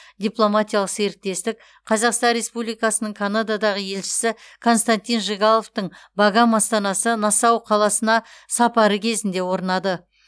дипломатиялық серіктестік қазақстан республикасының канададағы елшісі константин жигаловтың багам астанасы нассау қаласына сапары кезінде орнады